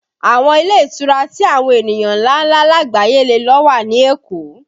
Àwọn ilé ìtura tí àwọn ènìyàn ńláńlá lagbaye lè lo wà ní Èkó